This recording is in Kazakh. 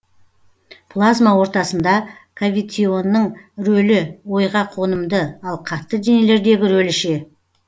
плазма ортасында кавитионның рөлі ойға қонымды ал қатты денелердегі рөлі ше